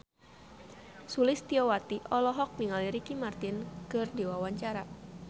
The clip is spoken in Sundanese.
Sulistyowati olohok ningali Ricky Martin keur diwawancara